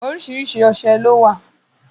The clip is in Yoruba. Oríṣiríṣi ọṣẹ lówà.